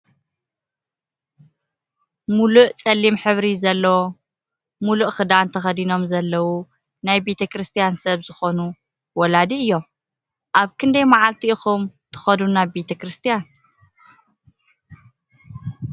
ሙሉእ ፀሊም ሕብሪ ዘለዎ ሙሉእ ክዳን ተከዲኖም ዘለዎ ናይ ቤተ ክርስትያን ሰብ ዝኮኑ ወላዲ እዮም ። ኣብ ክንደይ ማዓልቲ ኢኩም ትከዱ ናብ ቤተ ክርስትያን?